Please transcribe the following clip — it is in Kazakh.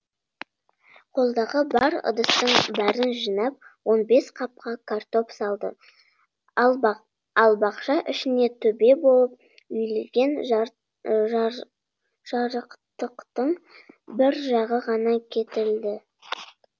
қолдағы бар ыдыстың бәрін жинап он бес қапқа картоп салды ал бақша ішіне төбе болып үйілген жарықтықтың бір жағы ғана кетілді